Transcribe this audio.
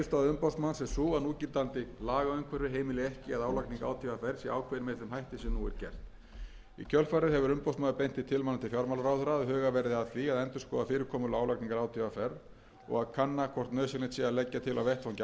umboðsmanns er sú að núgildandi lagaumhverfi heimili ekki að álagning átvr sé ákveðin með þeim hætti sem nú er gert í kjölfarið hefur umboðsmaður beint þeim tilmælum til fjármálaráðherra að hugað verði að því að endurskoða fyrirkomulag álagningar átvr og að kanna hvort nauðsynlegt sé að leggja til á vettvangi